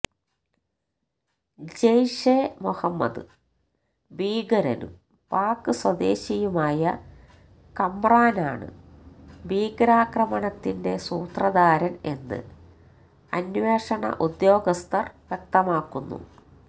ജെയ്ഷ് ഇ മൊഹമ്മദ് ഭീകരനും പാക് സ്വദേശിയുമായ കമ്രാനാണ് ഭീകരാക്രമണത്തിന്റെ സൂത്രധാരൻ എന്ന് അന്വേഷണ ഉദ്യോഗസ്ഥർ വ്യക്തമാക്കുന്നു